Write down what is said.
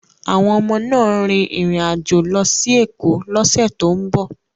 Àwọn ọmọ náà ń rin ìrìn àjò lọ sí Èkó lọ́sẹ̀ tó ń bọ̀